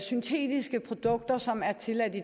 syntetiske produkter som er tilladt i